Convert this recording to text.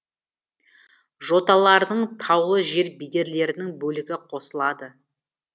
жоталарының таулы жер бедерлерінің бөлігі қосылады